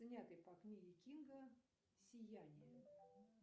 снятый по книге кинга сияние